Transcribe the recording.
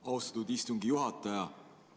Austatud istungi juhataja!